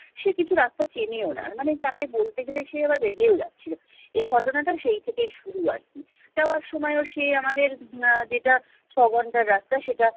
সে কিছু রাস্তা চেনেও না মানে তাকে বলতে গেলে সে আবার রেগেও যাচ্ছিলো এই ঘটনা টা সেই থেকেই শুরু আরকি যাওয়ার সময়ও সে আমাদের আহ যেটা ছ ঘন্টার রাস্তা সেটা